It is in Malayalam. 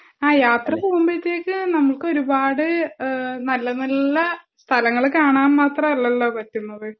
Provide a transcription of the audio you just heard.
ആഹ് യാത്ര പോകുമ്പോഴത്തെക് നമുക്ക് ഒരുപാട് ഏഹ് നല്ല നല്ല സ്ഥലങ്ങൾ കാണാൻ മാത്രം അല്ലാലോ പറ്റുന്നത്